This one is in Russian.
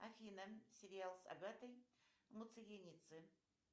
афина сериал с агатой муциринидзе